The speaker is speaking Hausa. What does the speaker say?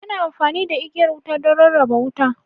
Ana amfani da igiyar wuta don rarraba wuta.